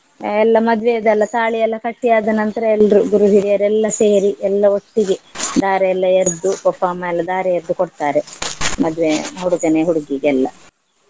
ಎಲ್ಲ ಮದ್ವೆದ್ ಎಲ್ಲ ತಾಳಿ ಎಲ್ಲ ಕಟ್ಟಿ ಆದ ನಂತ್ರ ಎಲ್ರೂ ಗುರುಹಿರಿಯರೆಲ್ಲ ಸೇರಿ ಎಲ್ಲ ಒಟ್ಟಿಗೆ ಧಾರೆ ಎಲ್ಲ ಎರ್ದು ಪಪ್ಪ ಅಮ್ಮ ಎಲ್ಲ ಧಾರೆ ಎರ್ದು ಕೊಡ್ತಾರೆ ಮದ್ವೆ ಹುಡುಗನೇ ಹುಡ್ಗೀಗ್ ಎಲ್ಲಾ.